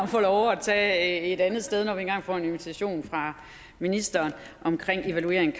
får lov at tage andet sted når vi engang får en invitation fra ministeren omkring evaluering af